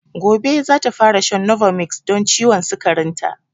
Gobe zata fara shan novomix don ciwon sikarin ta